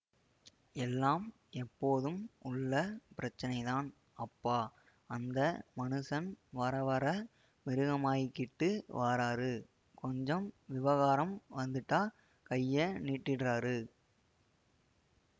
எல்லாம் எப்போதும் உள்ள பிரச்சினைதான் அப்பா அந்த மனுஷன் வரவர மிருகமாகிகிட்டு வாராரு கொஞ்சம் விவகாரம் வந்திட்டா கைய நீட்டிட்றாரு